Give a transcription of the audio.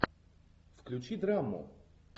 включи драму